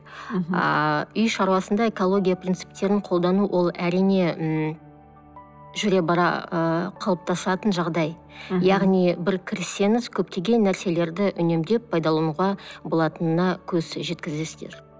ааа үй шаруасында экология принциптерін қолдану ол әрине ммм жүре бара ыыы қалыптасатын жағдай яғни бір кірсеңіз көптеген нәрселерді үнемдеп пайдалануға болатынына көз жеткізесіздер